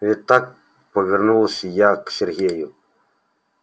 ведь так повернулась я к сергею